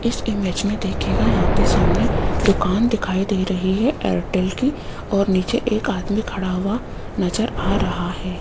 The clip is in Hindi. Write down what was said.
इस इमेज में देखिएगा यहां पे सामने दुकान दिखाई दे रही है एयरटेल की और नीचे एक आदमी खड़ा हुआ नजर आ रहा है।